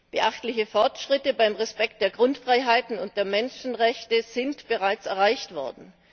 Beachtliche Fortschritte bei der Einhaltung der Grundfreiheiten und der Menschenrechte sind bereits erreicht worden.